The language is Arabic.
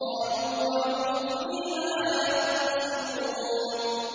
قَالُوا وَهُمْ فِيهَا يَخْتَصِمُونَ